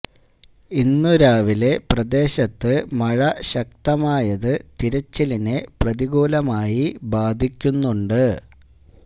ഇന്നു രാവിലെ പ്രദേശത്ത് മഴ ശക്തമായത് തിരച്ചിലിനെ പ്രതികൂലമായി ബാധിക്കുന്നുണ്ട്